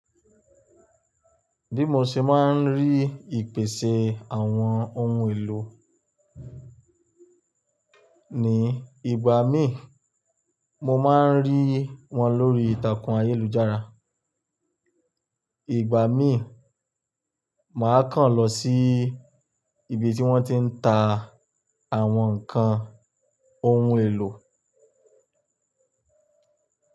Bí mo ṣe máa ń rí ìpèsin àwọn ohun èlò ní ìgbà míi, mo máa ń rí wọn lórí ìtàkùn ayélujára. Ìgbà mí, màá kàn lọ sí ibi tí wọ́n ti ń ta àwọn ǹkan ohun èlò.